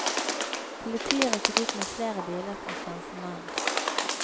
Politiet rykket ut med flere biler for å stanse mannen.